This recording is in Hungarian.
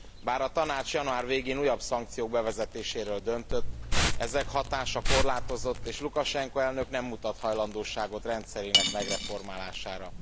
Bár a Tanács január végén újabb szankciók bevezetéséről döntött, ezek hatása korlátozott, és Lukasenko elnök nem mutat hajlandóságot rendszerének megreformálására.